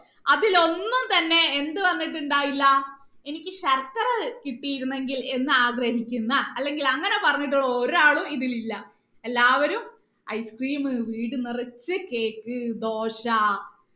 അതിൽ ഒന്നും തന്നേ എന്ത് വന്നിട്ടുണ്ടായിയില്ല എനിക്ക് ശർക്കര കിട്ടിയിരുന്നെങ്കിൽ എന്ന് ആഗ്രഹിക്കുന്ന അല്ലങ്കിൽ അങ്ങനെ പറഞ്ഞട്ടുള്ള ഒരാളും ഇതിൽ ഇല്ല എല്ലാവരും ice cream വീട് നിറച്ച് cake ദോശ